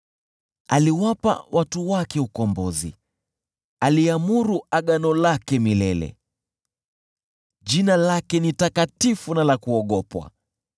Aliwapa watu wake ukombozi, aliamuru agano lake milele: jina lake ni takatifu na la kuogopwa.